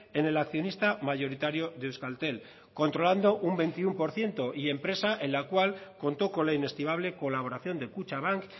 en el accionista mayoritario de euskaltel controlando un veintiuno por ciento y empresa en la cual contó con la inestimable colaboración de kutxabank